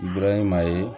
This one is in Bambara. maa ye